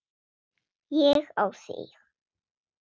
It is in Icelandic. Ég á þig.